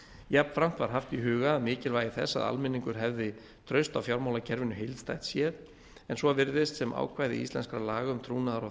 jafnframt var haft í huga mikilvægi þess að almenningur hefði traust á fjármálakerfinu heildstætt séð en svo virðist sem ákvæði íslenskra laga um trúnaðar og